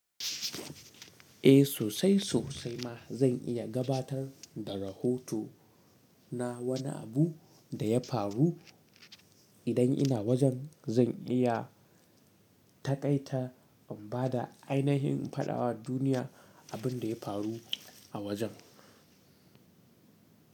Eh sosai sosai ma zan iya gabatar da rahoto na wani abu da ya faru idan ina wajen zan iya taƙaita in bada ainihin fadawa duniya abin da ya faru a wajen.